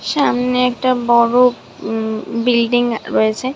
সামনে একটা বড় উম বিল্ডিং অ রয়েছে।